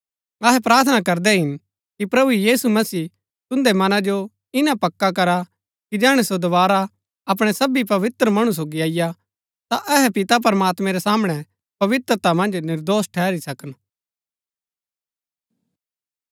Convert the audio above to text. अहै प्रार्थना करदै हिन कि प्रभु यीशु मसीह तुन्दै मनां जो इन्‍ना पक्का करा कि जैहणै सो दोवारा अपणै सबी पवित्र मणु सोगी अईआ ता अहै पिता प्रमात्मैं रै सामणै पवित्रता मन्ज निर्दोष ठहरी सकन